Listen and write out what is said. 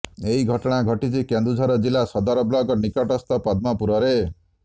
ଏହି ଘଟଣା ଘଟିଛି କେନ୍ଦୁଝର ଜିଲ୍ଲା ସଦର ବ୍ଲକ ନିକଟସ୍ଥ ପଦ୍ମପୁରରେ